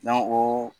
o